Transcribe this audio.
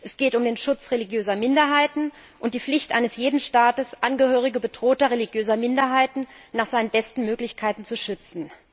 Es geht um den Schutz religiöser Minderheiten und die Pflicht eines jeden Staates, Angehörigen bedrohter religiöser Minderheiten nach seinen besten Möglichkeiten zu schützen.